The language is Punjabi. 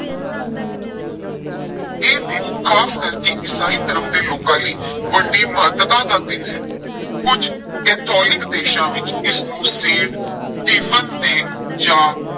ਇਹ ਦਿਨ ਖਾਸ ਕਰਕੇ ਈਸਾਈ ਧਰਮ ਦੇ ਲੋਕਾਂ ਲਈ ਵੱਡੀ ਮਹੱਤਤਾ ਦਾ ਦਿਨ ਹੈ, ਕੁਝ ਕੈਥੋਲੀਕ ਦੇਸ਼ਾਂ ਵਿੱਚ ਇਸਨੂੰ ਸੇਂਟ ਸਟੀਫਨ day ਜਾਂ